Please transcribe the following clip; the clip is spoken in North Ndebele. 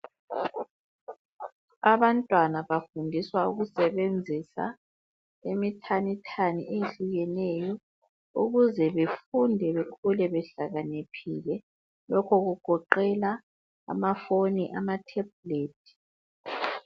Abantwana bafundiswa ukusebenzisa imithanithani eyehlukeneyo ukuze befunde bekhule behlakaniphile. Lokhu kugoqela ama phone, ama tablet.